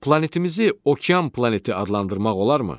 Planetimizi okean planeti adlandırmaq olarmı?